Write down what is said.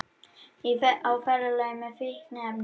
Á ferðalagi með fíkniefni